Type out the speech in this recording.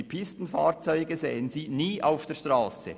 Die Pistenfahrzeuge sehen Sie nie auf der Strasse.